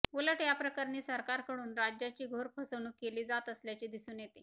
उलट या प्रकरणी सरकारकडून राज्याची घोर फसवणूक केली जात असल्याचे दिसून येते